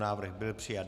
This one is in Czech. Návrh byl přijat.